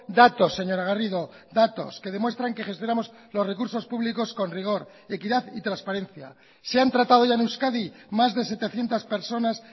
datos señora garrido datos que demuestran que gestionamos los recursos públicos con rigor equidad y transparencia se han tratado ya en euskadi más de setecientos personas